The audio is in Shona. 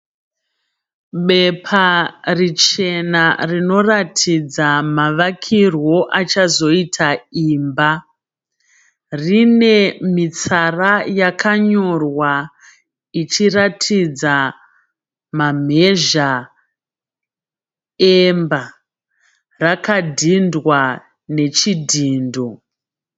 Bepa richena rinoratidza mavakirwo achazoita imba. Rine mitsara yakanyorwa ichiratidza mamhezha emba. Rakadhindwa nechidhindo.